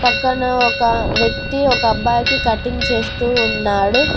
పక్కన ఒక వ్యక్తి ఒక అబ్బాయికి కటింగ్ చేస్తూ ఉన్నాడు.